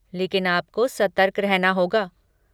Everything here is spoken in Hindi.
लेकिन आपको सतर्क रहना होगा।